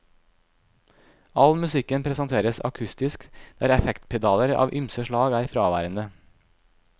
All musikken presenteres akustisk der effektpedaler av ymse slag er fraværende.